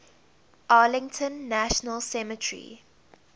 arlington national cemetery